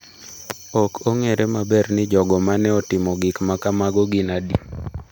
Ok ong’ere maber ni jogo ma ne otimo gik ma kamago gin adi.